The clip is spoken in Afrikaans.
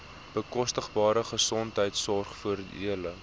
bekostigbare gesondheidsorg voordele